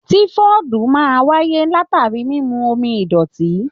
Tifọdu máa n wáyé latari mímú omi idọti.